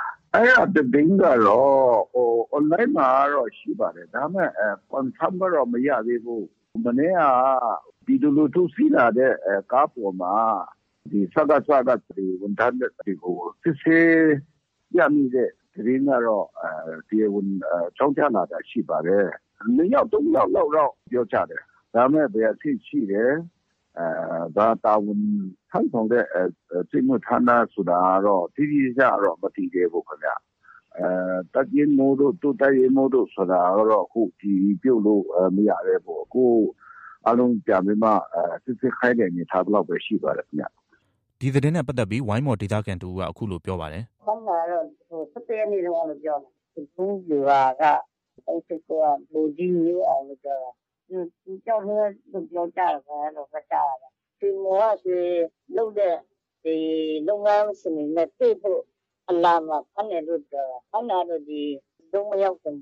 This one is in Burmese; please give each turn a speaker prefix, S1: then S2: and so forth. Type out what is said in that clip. S1: “ အဲဒါ သတင်းကတော့ online မှာတော့ ရှိပါတယ်။ ဒါပေမဲ့ Confirm ကတော့ မရသေးဘူး။ မနေ့က ပြည်သူလူထု စီးလာတဲ့ ကားပေါ်မှာ စကစက ဝန်ထမ်းတွေကို စစ်ဆေး ရမိတဲ့သတင်းကတော့ တရားဝင် အကြောင်းကြားလာတာ ရှိပါတယ်။ နှစ်ယောက်၊ သုံးယောက်လောက်တော့ ပြောကြတယ်။ ဒါပေမဲ့ ဘယ်အဆင့်ရှိတယ်။ ဘာတာဝန်ထမ်းဆောင်တဲ့ စစ်မှုထမ်းလားဆိုတာကတော့ တိတိကျကျတော့ မသိသေးဘူးခင်ဗျ။ တပ်ရင်းမှုးတို့ ဒုတပ်ရင်းမှုးတို့ ဆိုတာကတော့ အတည်ပြုလို့ မရသေးဘူး။ အခု အားလုံးပြန်ပြီးမှ စိစစ်ခိုင်းတဲ့အနေအထားလောက်ပဲ ရှိပါတယ်။
S2: ” ဒီသတင်းနဲ့ပတ်သက်ပြီး ဝိုင်းမော်ဒေသခံတစ်ဦးက အခုလို ပြောပါတယ်။
S1: “ ဖမ်းတာကတော့ ၁၁ရက်နေ့တုံးကလို့ ပြောတယ်။ ဆဒုံးဗျူဟာက ၃၈၉က ဗိုလ်ကြီး မျိုးအောင်လို့ ပြောတာ။ သူတစ်ယောက်တည်းပဲလို့ ပြောကြတယ်။ အဲလိုပဲ ကြားတာပဲ။ ရွှေမှော်က ရွှေလုပ်တဲ့ လုပ်ငန်းရှင်တွေနဲ့တွေ့ဖို့ အလာမှာ ဖမ်းတယ်လို့ ပြောတာပဲ။ ဖမ်းတာက ဒီဆဒုံးမရောက်ခင်